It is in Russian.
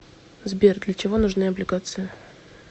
сбер для чего нужны облигации